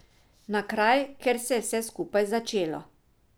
Na kraj, kjer se je vse skupaj začelo.